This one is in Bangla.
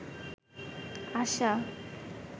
আশা